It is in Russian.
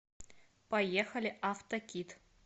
поехали автокит